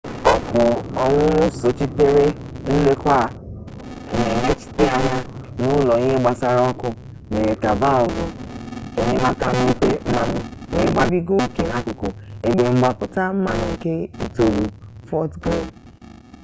ọkụ ọnyụnyụ sochitere nlekwa a na emechite anya n'ụlọ ihe gbasara ọkụ mere ka valvụ enyemaka mepee mmanụ wee gbabiga oke n'akụkụ ebe mgbapụta mmanụ nke itolu fọt griili